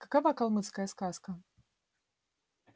какова калмыцкая сказка